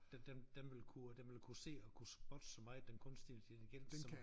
Den den den vil kunne den vil kunne se og kunne spotte så meget den kunstige intelligens så